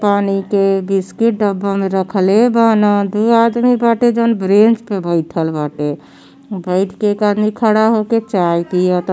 पानी के बिस्किट डब्बा में रखले बाना दू आदमी बाटे जउन ब्रेंच पर बैठल बाटे बैठ के एक आदमी खड़ा होके चाय पीयता।